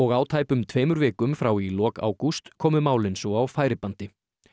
á tæpum tveimur vikum frá í lok ágúst komu málin svo á færibandi